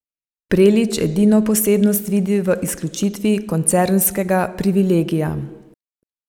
Prelič edino posebnost vidi v izključitvi koncernskega privilegija.